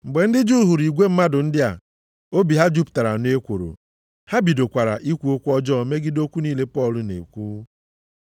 Mgbe ndị Juu hụrụ igwe mmadụ ndị a, obi ha jupụtara nʼekworo, ha bidokwara ikwu okwu ọjọọ megide okwu niile Pọl na-ekwu.